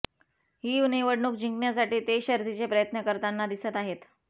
ही निवडणूक जिंकण्यासाठी ते शर्थीचे प्रयत्न करताना दिसत आहेत